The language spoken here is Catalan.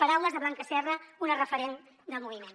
parau·les de blanca serra una referent del moviment